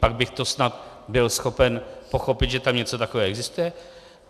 Pak bych to snad byl schopen pochopit, že tam něco takového existuje.